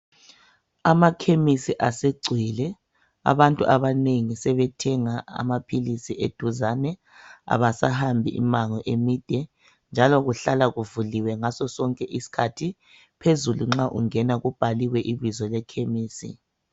Amakhemisi asegcwele abantu abanengi sebethenga amaphilisi eduzane abasahambi imango emide njalo kuhlala kuvuliwe ngasosonke isikhathi phezulu nxa ungena kubhaliwe ibizo lekhemisi.